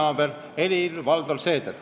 See on Helir-Valdor Seeder.